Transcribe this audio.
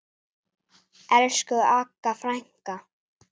Elsku Agga frænka.